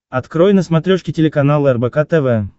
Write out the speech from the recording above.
открой на смотрешке телеканал рбк тв